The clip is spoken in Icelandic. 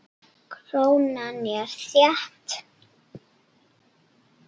Krónan er þétt.